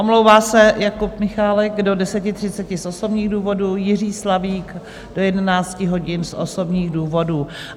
Omlouvá se Jakub Michálek do 10.30 z osobních důvodů, Jiří Slavík do 11 hodin z osobních důvodů.